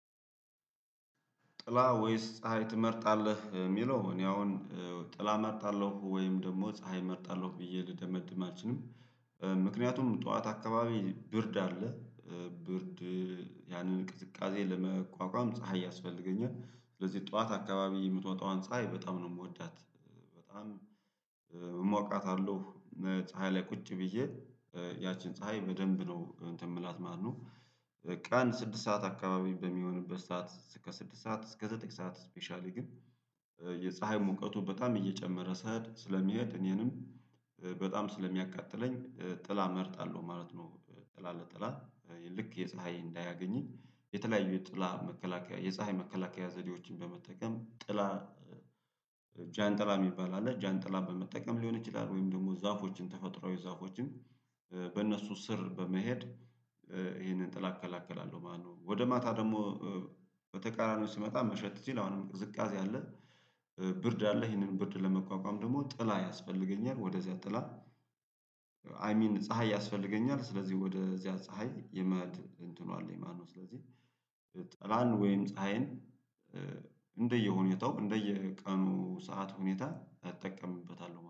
ጥላ ወይስ ፀሀይ ትመርጣለህ? የሚለው እኔ አሁን ጥላ እመርጣለሁ ወይም ደግሞ ፀሀይ እመርጣለሁ ብዬ ልደመድም አልችልም። ምክንያቱም ጠዋት አካባቢ ብርድ አለ። ብርድ ያንን ቅዝቃዜ ለመቋቋም ፀሀይ ያስፈልገኛል ስለዚህ ጠዋት አካባቢ የምትወጣዋን ፀሀይ በጣም ነው የምወዳት። በጣም እሞቃታለሁ ፀሀይ ላይ ቁጭ ብዬ ያቺን ፀሀይ በደንብ ነው እንትን ምላት ማነው ቀን ስድስት ሰዓት አካባቢ በሚሆንበት ሰዓት እስከ ስድስት ሰዓት እስከ ዘጠኝ ሰዓት ስፔሻሊ ግን የፀሀይ ሙቀቱ በጣም እየጨመረ ሲሄድ ስለሚሄድ እኔንም በጣም ስለሚያቃጥለኝ ጥላ እመርጣለሁ። ማለት ነው ጥላ ለጥላ ልክ የፀሀይ እንዳያገኘኝ የተለያዩ የጥላ መከላከያ የፀሀይ መከላከያ ዘዴዎችን በመጠቀም ጥላ። ጃንጥላ የሚባል አለ ጃንጥላ በመጠቀም ሊሆን ይችላል ወይም ደግሞ ዛፎችን ተፈጥሮዊ ዛፎችን በእነሱ ስር በመሄድ ይሄንን ጥላ እከላከላለሁ ማለት ነው። ወደ ማታ ደግሞ በተቃራኒው ሲመጣ መሸት ሲል አሁንም ቅዝቃዜ አለ። ብርድ አለህ ይሄንን ብርድ ለመቋቋም ደግሞ ጥላ ያስፈልገኛል ወደዚያ ጥላ አይ ሚን ፀሀይ ያስፈልገኛል። ስለዚህ ወደዚያ ፀሀይ የማን እንትኑ አለኝ ማን ነው? ስለዚህ ጥላን ወይም ፀሀይን እንደየ ሁኔታው እንደየቀኑ ሰዓት ሁኔታ እጠቀምበታለሁ